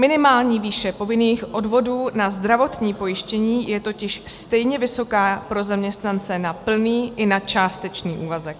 Minimální výše povinných odvodů na zdravotní pojištění je totiž stejně vysoká pro zaměstnance na plný i na částečný úvazek.